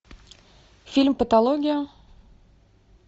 фильм патология